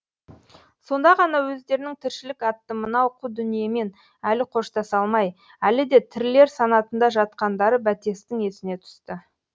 сонда ғана өздерінің тіршілік атты мынау қу дүниемен әлі қоштаса алмай әлі де тірілер санатында жатқандары бәтестің есіне түсті